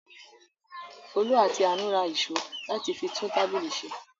Folú àti Àánú ra ìṣó láti fi tún tábìlì ṣe.